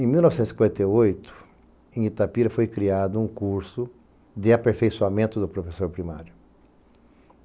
Em mil novecentos e cinquenta e oito, em Itapira, foi criado um curso de aperfeiçoamento do professor primário.